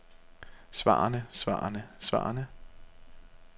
svarene svarene svarene